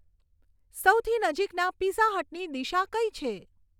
સૌથી નજીકના પીઝા હટની દિશા કઈ છે